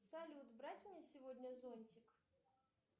салют брать мне сегодня зонтик